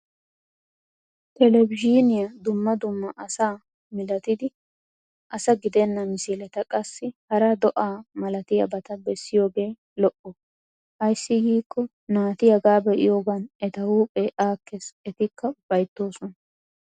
Televizhiiniya dumma dumma asaa milatadi asa gidenna misileta qassi hara do'a malatiyabata bessiyoogee lo'o. Ayssi giikko naati hagaa be'iyogan eta huuphphee aakkes etikka ufayttoosona.